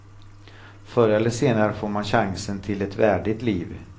Förr eller senare får man chansen till ett värdigt liv.